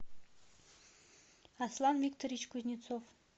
аслан викторович кузнецов